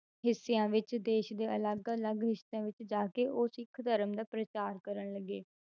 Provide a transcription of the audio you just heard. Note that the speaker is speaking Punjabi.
ਹਿੱਸਿਆਂ ਵਿੱਚ ਦੇਸ ਦੇ ਅਲੱਗ ਅਲੱਗ ਹਿੱਸਿਆਂ ਵਿੱਚ ਜਾ ਕੇ ਉਹ ਸਿੱਖ ਧਰਮ ਦਾ ਪ੍ਰਚਾਰ ਕਰਨ ਲੱਗੇ,